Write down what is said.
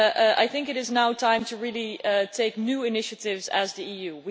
I think it is now time to really take new initiatives, as the EU.